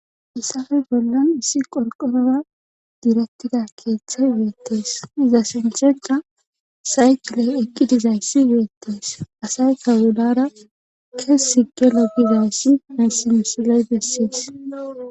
Hayssappe bollan issi qorqorora diretida keeththay beetes. iza sinththenkka saykile eqqi dizayssi beetees. Asaykka hayssi misile besees.